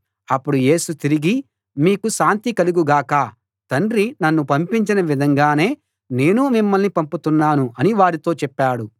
అప్పుడు యేసు తిరిగి మీకు శాంతి కలుగు గాక తండ్రి నన్ను పంపించిన విధంగానే నేనూ మిమ్మల్ని పంపుతున్నాను అని వారితో చెప్పాడు